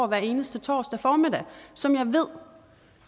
hver eneste torsdag formiddag som jeg ved